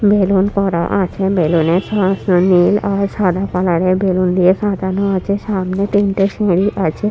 Balloon করা আছে balloon -এর সমস্ত নীল আর সাদা কালার -এর বেলুন দিয়ে সাজানো আছে সামনে তিনটে সিঁড়ি আছে।